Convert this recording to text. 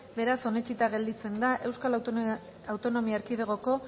beraz onetsita gelditzen da euskal autonomia erkidegoko